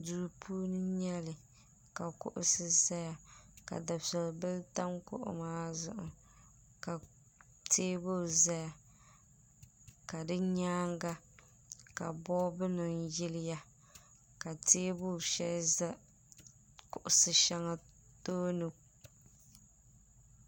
Duu puuni n nyɛli ka kuɣusi zaya ka dufebihi tam kuɣu maa zuɣu ka teebuli zaya ka di nyaanga ka bolifu nima yiliya ka teebuli sheli za kuɣusheŋa tooni.